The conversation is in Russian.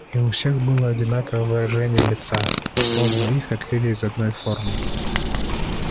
и у всех было одинаковое выражение лица словно их отлили из одной формы